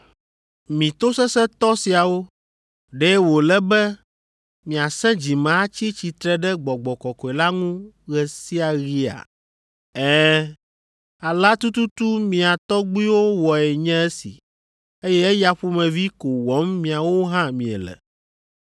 “Mi tosesẽtɔ siawo, ɖe wòle be miasẽ dzime atsi tsitre ɖe Gbɔgbɔ Kɔkɔe la ŋu ɣe sia ɣia? Ɛ̃, Alea tututu mia tɔgbuiwo wɔe nye esi, eye eya ƒomevi ko wɔm miawo hã miele.